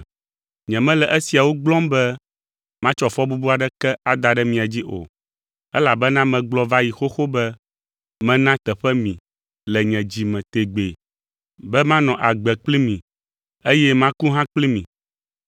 Nyemele esiawo gblɔm be matsɔ fɔbubu aɖeke ada ɖe mia dzi o, elabena megblɔ va yi xoxo be mena teƒe mi le nye dzi me tegbee be manɔ agbe kpli mi, eye maku hã kpli mi.